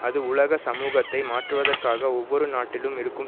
அது உலக சமூகத்தை மாற்றுவதற்காக ஒவ்வொரு நாட்டிலும் இருக்கும்